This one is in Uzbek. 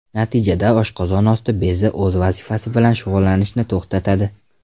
Natijada oshqozon osti bezi o‘z vazifasi bilan shug‘ullanishni to‘xtatadi.